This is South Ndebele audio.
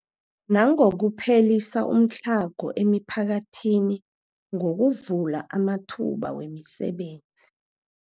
Nangokuphelisa umtlhago emiphakathini ngokuvula amathuba wemisebenzi.